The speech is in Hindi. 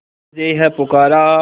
तुझे है पुकारा